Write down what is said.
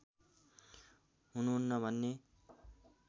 हुनु हुन्न भन्ने